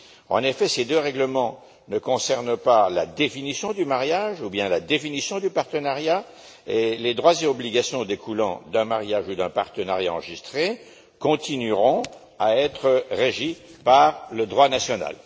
En effet, ces deux règlements ne concernent pas la définition du mariage ou bien la définition du partenariat, et les droits et obligations découlant d'un mariage ou d'un partenariat enregistré continueront à être régis par le droit national.